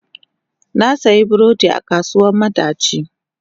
Na sayi burodin a kasuwar madaci.